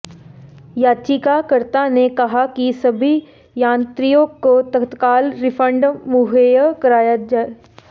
याचिकाकर्ता ने कहा कि सभी यात्रियों को तत्काल रिफंड मुहैया कराया जाए